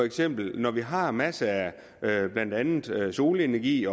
eksempel når vi har masser af blandt andet solenergi